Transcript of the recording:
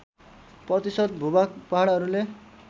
प्रतिशत भूभाग पहाडहरूले